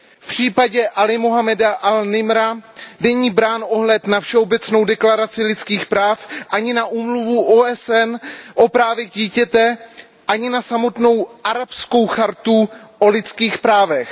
V případě Alího Muhammada an Nimra není brán ohled na Všeobecnou deklaraci lidských práv, ani na Úmluvu OSN o právech dítěte, ani na samotnou Arabskou chartu o lidských právech.